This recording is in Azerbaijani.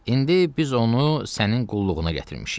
İndi biz onu sənin qulluğuna gətirmişik.